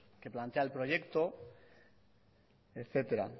que plantea el proyecto etcétera